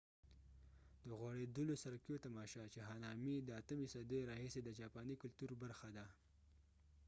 د غوړېدلو سرکیو تماشا چې هانامي د 8مې صدۍ راهیسې د جاپاني کلتور برخه ده